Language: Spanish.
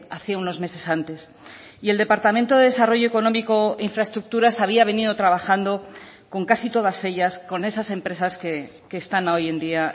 hacía unos meses antes y el departamento de desarrollo económico infraestructuras había venido trabajando con casi todas ellas con esas empresas que están hoy en día